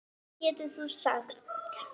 Hvað getur þú sagt?